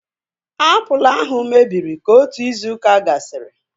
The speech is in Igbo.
Apụl ahu mebiri ka otu izu ụka gasịrị